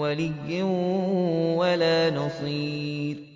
وَلِيٍّ وَلَا نَصِيرٍ